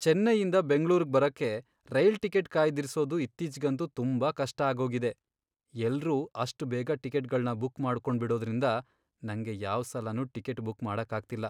ಚೆನ್ನೈಯಿಂದ ಬೆಂಗ್ಳೂರ್ಗ್ ಬರಕ್ಕೆ rail ticket ಕಾಯ್ದಿರ್ಸೋದು ಇತ್ತೀಚ್ಗಂತೂ ತುಂಬಾ ಕಷ್ಟ ಆಗೋಗಿದೆ. ಎಲ್ರೂ ಅಷ್ಟ್ ಬೇಗ ಟಿಕೆಟ್ಗಳ್ನ ಬುಕ್ ಮಾಡ್ಕೊಂಡ್ಬಿಡೋದ್ರಿಂದ ನಂಗೆ ಯಾವ್ ಸಲನೂ ಟಿಕೆಟ್ ಬುಕ್ ಮಾಡಕ್ಕಾಗ್ತಿಲ್ಲ.